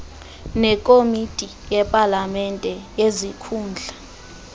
nekomiti yepalamente yezikhundla